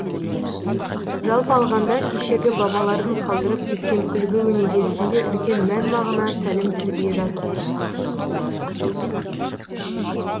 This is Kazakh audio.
жалпы алғанда кешегі бабалардың қалдырып кеткен үлгі өнегесінде үлкен мән мағына тәлім тәрбие жатыр